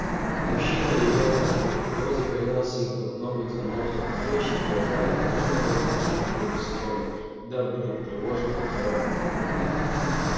мужчина ревел как бык если загонял себе под ноготь занозу а женщина рожая должна была глушить в груди стоны дабы не потревожить покоя мужа